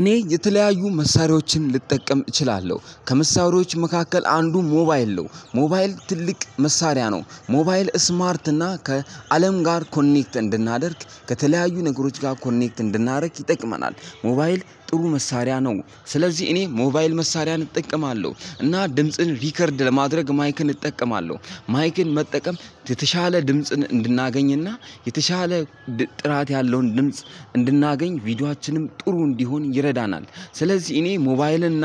እኔ የተለያዩ መሳሪያዎችን ልጠቀም እችላለሁ ከመሳሪያዎች መካከል አንዱ ሞባይል ነው ሞባይል ትልቅ መሳሪያ ነው ሞባይል ስማርት እና ከአለም ጋር ኮኔክት እንድናደርግ ከተለያዩ ነገሮች ጋር ኮኔክት እንድናደርግ ይጠቅመናል ሞባይል ጥሩ መሳሪያ ነው። ስለዚህ እኔ ሞባይል መሳሪያን እጠቀማለሁ እና ድምጽን ሪከርድ ለማድረግ ማይክን እጠቀማለሁ። ማይክን መጠቀም የተሻለ ድምጽን እንድናገኝና የተሻለ ጥራት ያለውን ድምጽ እንድናገኝ ቪዲዮአችንም ጥሩ እንዲሆን ይረዳናል። ስለዚህ እኔ ሞባይል እና